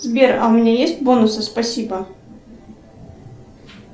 сбер а у меня есть бонусы спасибо